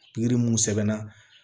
mun sɛbɛnna